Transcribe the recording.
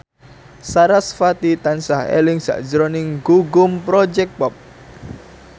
sarasvati tansah eling sakjroning Gugum Project Pop